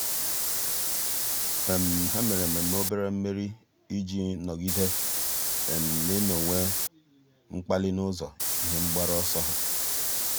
há mèrè ememe obere mmeri iji nọ́gídé n’ị́nọ́wé mkpali n’ụ́zọ́ ihe mgbaru ọsọ ha.